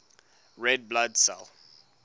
red blood cell